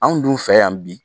Anw dun fɛ yan bi